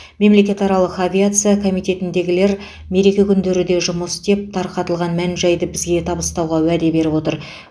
мемлекетаралық авиация комитетіндегілер мереке күндері де жұмыс істеп тарқатылған мән жайды бізге табыстауға уәде беріп отыр